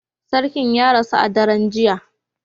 Sarkin ya rasu a daren jiya